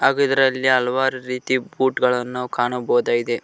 ಹಾಗು ಇದರಲ್ಲಿ ಹಲವಾರು ರೀತಿ ಬೂಟ್ ಗಳನ್ ನಾವು ಕಾಣಬಹುದಾಗಿದೆ.